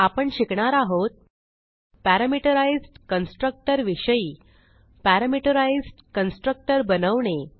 आपण शिकणार आहोत पॅरामेट्राइज्ड कन्स्ट्रक्टर विषयी पॅरामीटराईज्ड कन्स्ट्रक्टर बनवणे